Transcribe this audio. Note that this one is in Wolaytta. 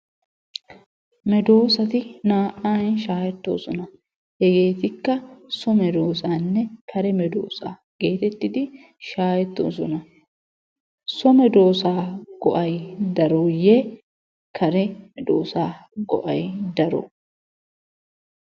medoossati naa"an shaahettoosona. Hegeetikka so medoossaanne kare medoossaa geetettidi shaahettoosona. So medoossaa go'ay darooyye kare medoossaa go'ay daroo?